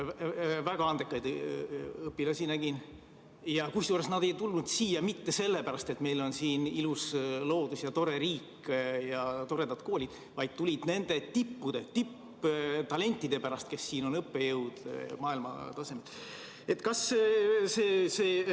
Väga andekaid õpilasi nägin, kusjuures nad ei tulnud siia mitte sellepärast, et meil on siin ilus loodus ja tore riik ja toredad koolid, vaid nad tulid nende tippude, tipptalentide pärast, kes on maailmatasemel õppejõud.